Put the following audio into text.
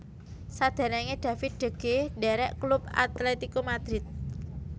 Saderenge David de Gea ndherek klub Atlético Madrid